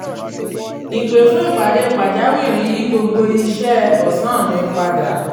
ìpè fún ìpàdé pàjáwìrì yí gbogbo iṣẹ́ ọ̀sán mi padà